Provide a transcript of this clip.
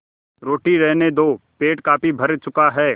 रोटी रहने दो पेट काफी भर चुका है